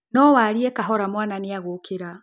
No warie kahora mwana nĩ agũkĩra